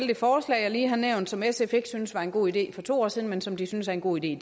det forslag jeg lige har nævnt og som sf ikke syntes var en god idé for to år siden men som de synes er en god idé i